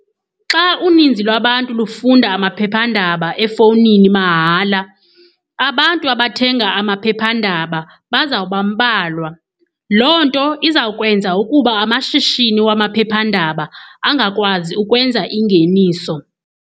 Xa uninzi lwabantu lufunda amaphephandaba efowunini mahala, abantu abathenga amaphephandaba bazawubambalwa. Loo nto izawukwenza ukuba amashishini wamaphephandaba angakwazi ukwenza ingeniso.